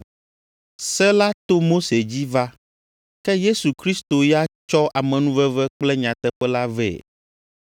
Se la to Mose dzi va, ke Yesu Kristo ya tsɔ amenuveve kple nyateƒe la vɛ.